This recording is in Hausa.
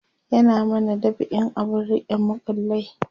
ya mana dab'in abun rike makullai